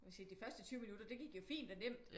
Jeg vil sige de første 20 minutter det gik jo fint og nemt